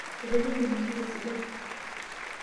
Etejo mening'ito esidai.